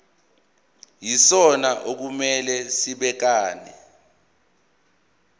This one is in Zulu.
yisona okumele sibhekane